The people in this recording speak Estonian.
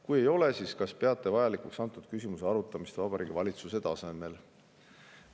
Kui ei ole, siis kas peate vajalikuks antud küsimuse arutamist Vabariigi Valitsuse tasemel?